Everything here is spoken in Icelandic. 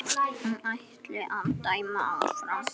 Hann ætli að dæma áfram.